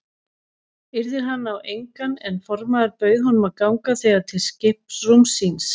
Yrðir hann á engan en formaður bauð honum að ganga þegar til skiprúms síns.